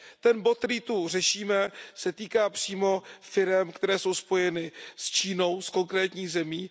Ten bod, který zde řešíme, se týká přímo firem, které jsou spojeny s Čínou, s konkrétní zemí.